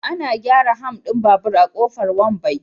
Ana gyara ham din babur a Kofar Wambai.